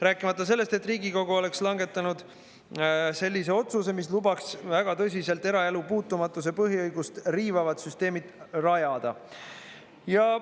Rääkimata sellest, et Riigikogu oleks langetanud sellise otsuse, mis lubaks väga tõsiselt eraelu puutumatuse põhiõigust riivavad süsteemid rajada.